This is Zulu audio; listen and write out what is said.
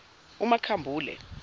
umakhambule